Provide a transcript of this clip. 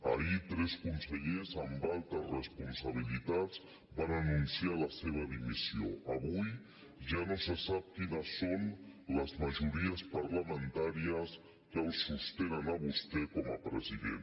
ahir tres consellers amb altes responsabilitats van anunciar la seva dimissió avui ja no se sap quines són les majories parlamentàries que el sostenen a vostè com a president